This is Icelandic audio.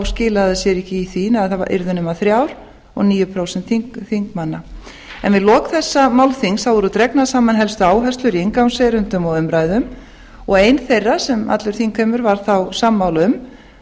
sér ekki í því að þær yrðu nema þrjár og níu prósent þingmanna við lok þessa málþings voru dregnar saman helstu áherslur í inngangserindum og umræðum og ein þeirra sem allur þingheimur var þá sammála um